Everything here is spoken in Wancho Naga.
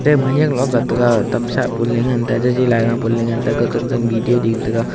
tem khayak loh ga tega tam sa bun le ngan jaji laiga pu lo e ngan tega kotan tan video ding tega.